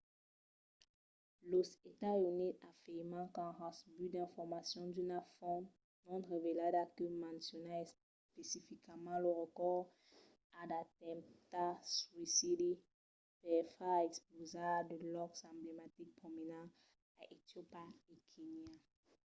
los estats units afirman qu’an recebut d’informacions d’una font non revelada que menciona especificament lo recors a d’atemptats suïcidi per far explosar de lòcs emblematics prominents a etiopia e kenya